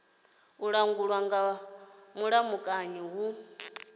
a langulwa nga mulamukanyi hu